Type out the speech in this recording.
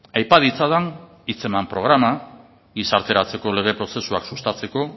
aipa ditzadan hitzeman programa gizarteratzeko lege prozesuak sustatzeko